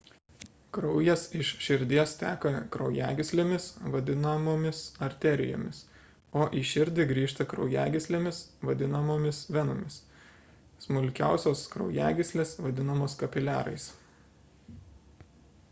kraujas iš širdies teka kraujagyslėmis vadinamomis arterijomis o į širdį grįžta kraujagyslėmis vadinamomis venomis smulkiausios kraujagyslės vadinamos kapiliarais